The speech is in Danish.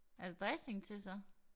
Er der dressing til så?